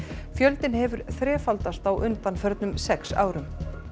fjöldinn hefur þrefaldast á undanförnum sex árum